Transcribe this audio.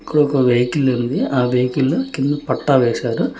ఇక్కడ ఒక వెహికల్ ఉంది. ఆ వెహికల్ కిం పట్టా వేశారు.